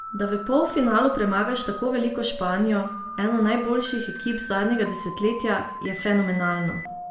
Da v polfinalu premagaš tako veliko Španijo, eno najboljših ekip zadnjega desetletja, je fenomenalno.